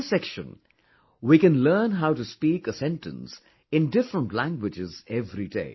In this section, we can learn how to speak a sentence in different languages every day